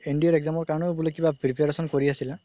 NDA ৰ exam কাৰণেও কিবা preparation কৰি আছিলা